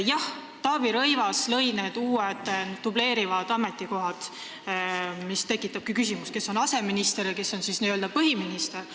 Jah, Taavi Rõivas lõi need uued dubleerivad ametikohad, mis tekitabki küsimuse, kes on aseminister ja kes on n-ö põhiminister.